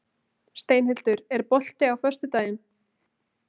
Steinhildur, er bolti á föstudaginn?